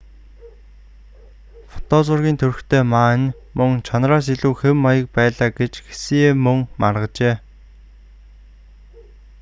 фото зургийн төрхтэй ма нь мөн чанараас илүү хэв маяг байлаа гэж хсие мөн маргажээ